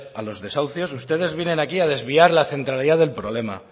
a los desahucios ustedes vienen aquí a desviar la centralidad del problema